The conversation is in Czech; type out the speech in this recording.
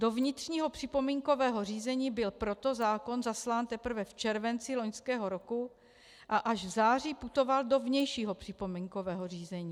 Do vnitřního připomínkového řízení byl proto zákon zaslán teprve v červenci loňského roku a až v září putoval do vnějšího připomínkového řízení.